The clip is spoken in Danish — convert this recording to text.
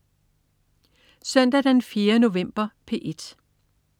Søndag den 4. november - P1: